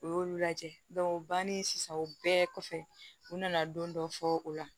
U y'olu lajɛ banni sisan o bɛɛ kɔfɛ u nana don dɔ fɔ o la